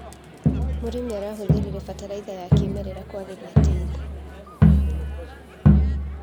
Mũrĩmi arahũthĩrire bataraitha ya kĩmerera kwagĩria tĩri.